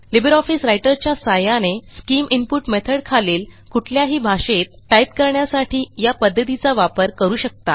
LibreOffice Writer च्या सहाय्याने scheme input method खालील कुठल्याही भाषेत टाईप करण्यासाठी या पध्दतीचा वापर करू शकता